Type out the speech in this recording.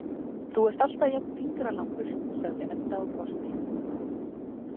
Þú ert alltaf jafn fingralangur, sagði Edda og brosti.